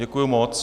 Děkuji moc.